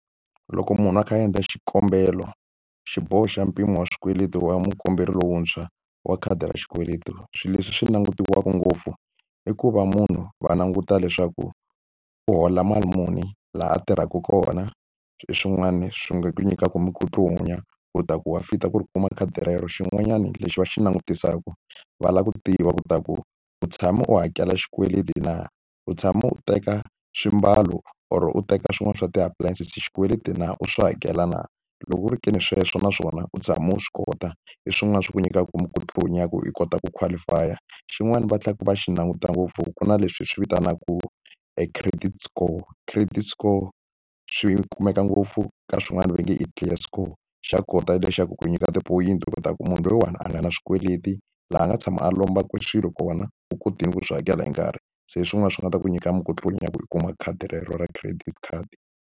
Loko munhu a kha a endla xikombelo xiboho xa mpimo wa swikweleti wa mukomberi lontshwa wa khadi ra xikweleti swilo leswi swi langutiweke ngopfu i ku va munhu va languta leswaku u hola mali muni laha a tirhaka kona swin'wani swi nga nyikaka minkutlunya u ta ku wa fit-a ku ri kuma khadi rero xin'wanyana lexi va xi langutisaka va lava ku tiva ku ta ku u tshama u hakela xikweleti na u tshama u teka swimbalo or u teka swin'wana swa ti-appliances hi xikweleti na u swi hakela na loko ku ri ke ni sweswo naswona u tshama u swi kota i swin'wana swa ku nyikaku minkutlunya ku i kota ku qualify-a xin'wana vatleka va xi languta ngopfu ku na leswi hi swi vitanaku e credit score credit score swi kumeka ngopfu ka swin'wana va nge i clear score xa kota lexaku ku nyika tipoyinti u kota ku munhu loyiwani a nga na swikweleti laha a nga tshama a lombaka swilo kona u kotile ku swi hakela hi nkarhi se swin'wana swi nga ta ku nyika minkutlunya ku u kuma khadi rero ra credit card.